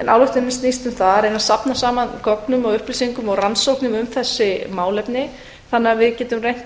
en áætlunin snýst um það að reyna að safna saman gögnum og upplýsingum og rannsóknum um þessi málefni þannig að við getum reynt